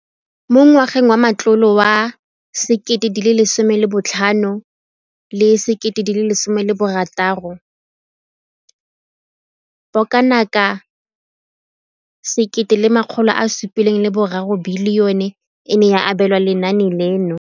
Mo ngwageng wa matlole wa 2015,16, bokanaka R5 703 bilione e ne ya abelwa lenaane leno.